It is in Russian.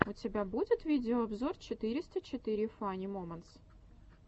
у тебя будет видеообзор четыреста четыре фани моментс